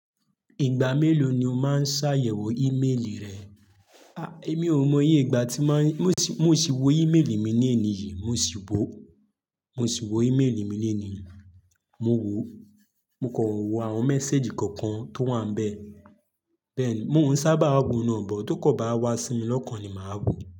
Ìgbà mélòó ni o máa ń ṣàyẹ̀wò ímélì rẹ? A! Èmi ò mọ iye ìgbà tí máa ń, mo sì, mo sì wo ímélì mi ní èní yìí, mo sì wò ó mo sì wo ímélì mi lónìí, mo wò ó. Mo kò wò àwọn message kọ̀ọ̀kan tó wà ń bẹ́ẹ̀. Bẹ́ẹ̀ ni, mò ń sábà wo náa but, tó kàn bá wá sí mi lọ́kàn ni màá wò.